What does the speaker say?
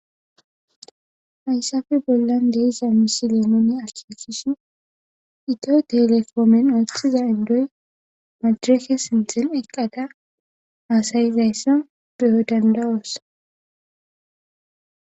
Hayssafe bollan deiza misi leemoone assekishi ito telefoomen ooththiza indoy madreke sintin eqqada aasayizayssa beyo dandawoos.